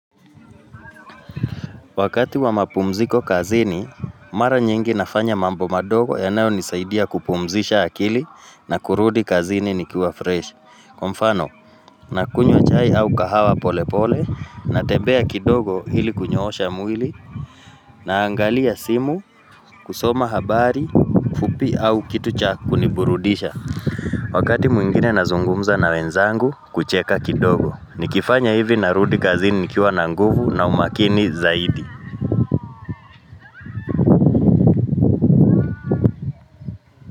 Wakati wa mapumziko kazini, mara nyingi nafanya mambo madogo yanayonisaidia kupumzisha akili na kurudi kazini nikiwa fresh. Kwa mfano, nakunywa chai au kahawa pole pole, natembea kidogo hili kunyoosha mwili, naangalia simu kusoma habari fupi au kitu cha kuniburudisha. Wakati mwingine nazungumza na wenzangu kucheka kidogo, nikifanya hivi narudi kazini nikiwa na nguvu na umakini zaidi.